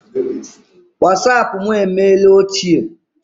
Wasapụ mụ emeela ochie.